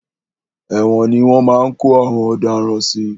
Ẹ̀wòn ni wọ́n máa ń kó àwọn ọ̀daràn sí.